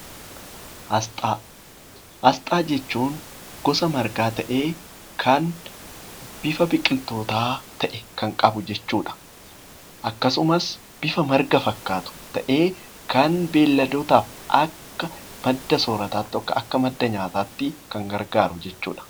Asxaa jechuun gosa margaa ta'ee kan bifa biqilootaa kan qabu jechuudha. Akkasumas bifa marga fakkaatu ta'ee kan beeyladootaaf Akka madda soorataatti yookaan Akka madda nyaataatti kan oolu jechuudha